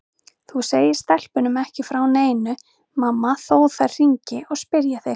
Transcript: Þú segir stelpunum ekki frá neinu mamma þó þær hringi og spyrji þig.